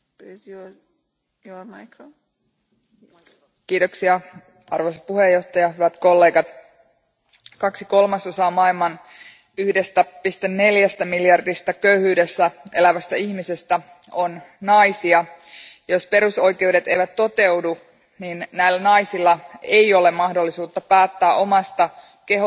Arvoisa puhemies, hyvät kollegat, kaksi kolmasosaa maailman 1,4 miljardista köyhyydessä elävästä ihmisestä on naisia. Jos perusoikeudet eivät toteudu, näillä naisilla ei ole mahdollisuutta päättää omasta kehostaan, seksuaalisuudestaan eikä viime kädessä tulevaisuudestaan.